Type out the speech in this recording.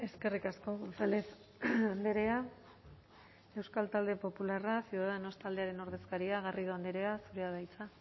eskerrik asko gonzález andrea euskal talde popularra ciudadanos taldearen ordezkaria garrido andrea zurea da hitza